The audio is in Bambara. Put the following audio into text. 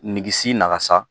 Ngisi nakasa